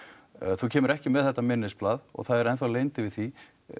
þú kemur ekki með þetta minnisblað og það er enn leynd yfir því